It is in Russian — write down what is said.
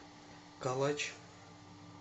калач